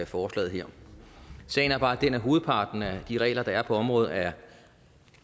forslaget her sagen er bare den at hovedparten af de regler der er på området er